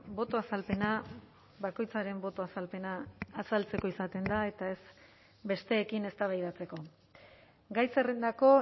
boto azalpena bakoitzaren boto azalpena azaltzeko izaten da eta ez besteekin eztabaidatzeko gai zerrendako